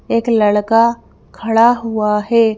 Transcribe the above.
एक लड़का खड़ा हुआ है।